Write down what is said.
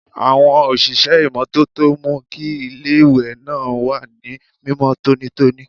Àwọn òṣìṣẹ́ ìmọ́tótó ń mú kí iléèwé náà wà ní mímọ́ tónítóní